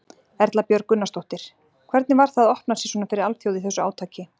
Erla Björg Gunnarsdóttir: Hvernig var það að opna sig svona fyrir alþjóð í þessu átaki?